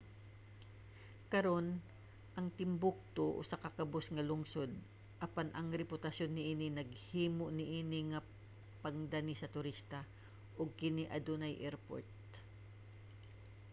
karon ang timbuktu usa ka kabus nga lungsod apan ang reputasyon niini naghimo niini nga pangdani sa turista ug kini adunay airport